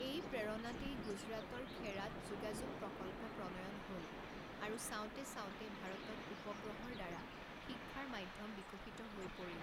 এই প্ৰেৰণাতেই গুজৰাটৰ খেড়াত যোগাযোগ প্ৰকল্প প্ৰণয়ন হ'ল আৰু চাওতে চাওতে ভাৰতত উপগ্ৰহৰ দ্বাৰা শিক্ষাৰ মাধ্যম বিকশিত হৈ পৰিল।